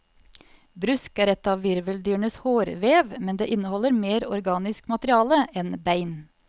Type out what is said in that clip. Brusk er et av virveldyrenes hårdvev, men det inneholder mer organisk materiale enn bein.